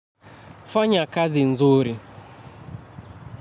Fanya kazi nzuri.